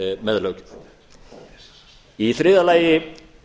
með löggjöf í þriðja lagi